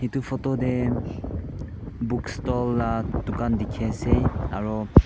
etu photo te bookstall la dukan dekhi ase aro.